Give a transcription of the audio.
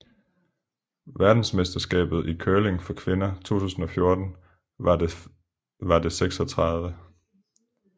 Verdensmesterskabet i curling for kvinder 2014 var det 36